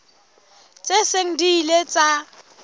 tse seng di ile tsa